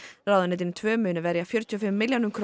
ráðuneytin tvö munu verja fjörutíu og fimm milljónum króna